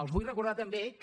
els vull recordar també que